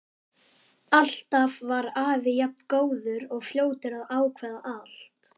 Alltaf var afi jafn góður og fljótur að ákveða allt.